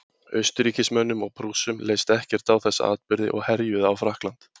Austurríkismönnum og Prússum leist ekkert á þessa atburði og herjuðu á Frakkland.